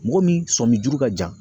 Mɔgɔ min sɔmin juru ka jan